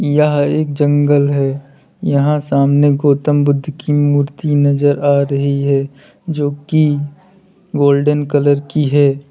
यह एक जंगल है यहां सामने गौतम बुद्ध की मूर्ति नजर आ रही है जो की गोल्डन कलर की है।